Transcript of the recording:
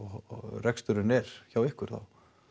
reksturinn er hjá ykkur þá